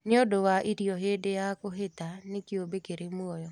Nĩũndũ wa irio hĩndĩ ya kũhĩta nĩ kĩũmbe kĩrĩ mũoyo